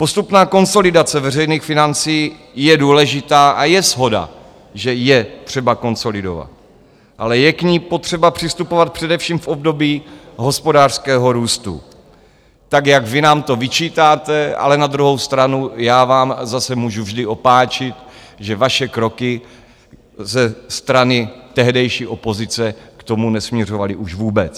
Postupná konsolidace veřejných financí je důležitá a je shoda, že je třeba konsolidovat, ale je k ní potřeba přistupovat především v období hospodářského růstu, tak jak vy nám to vyčítáte, ale na druhou stranu já vám zase můžu vždy opáčit, že vaše kroky ze strany tehdejší opozice k tomu nesměřovaly už vůbec.